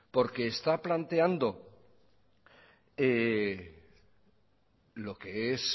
porque está planteando lo que es